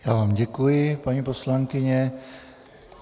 Já vám děkuji, paní poslankyně.